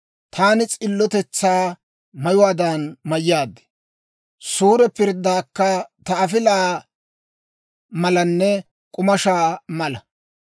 Taani s'illotetsaa mayuwaadan mayyaad; suure pirddaykka ta afilaa malanne k'umaashsha mala.